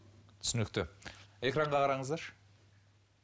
түсінікті экранға қараңыздаршы